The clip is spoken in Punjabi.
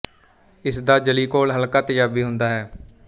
ਇਸ ਦਾ ਜਲੀ ਘੋਲ ਹਲਕਾ ਤੇਜਾਬੀ ਹੁੰਦਾ ਹੈ